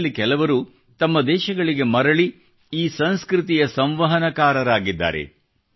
ಅದರಲ್ಲಿ ಕೆಲವರು ತಮ್ಮ ದೇಶಗಳಿಗೆ ಮರಳಿ ಈ ಸಂಸ್ಕೃತಿಯ ಸಂವಹನಕಾರರಾಗಿದ್ದಾರೆ